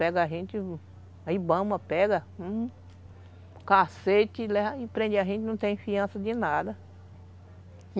Pega a gente, aí bamba, pega, hum, cacete, e prende a gente, não tem confiança de nada.